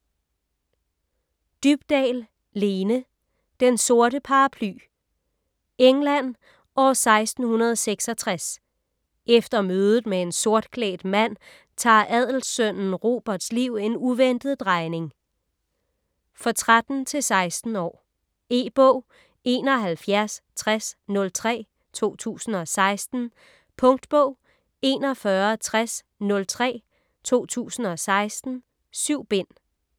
Dybdahl, Lene: Den sorte paraply England år 1666. Efter mødet med en sortklædt mand tager adelsønnen Roberts liv en uventet drejning. For 13-16 år. E-bog 716003 2016. Punktbog 416003 2016. 7 bind.